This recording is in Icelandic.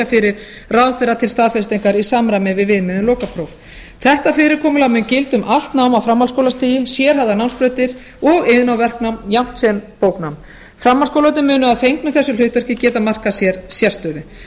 fyrir ráðherra til staðfestingar í samræmi i við viðmið um lokapróf þetta fyrirkomulag mun gilda um allt nám á framhaldsskólastigi sérhæfðar námsbrautir og iðn og verknám jafnt sem bóknám framhaldsskólarnir munu að fengnu þessu hlutverki getað markað sér sérstöðu